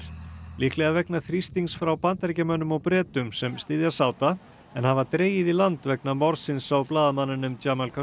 líklega vegna þrýstings frá Bandaríkjamönnum og Bretum sem styðja en hafa dregið í land vegna morðsins á blaðamanninum